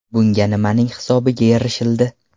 Bunga nimaning hisobiga erishildi?